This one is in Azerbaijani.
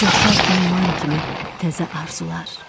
Coşar ümman kimi təzə arzular.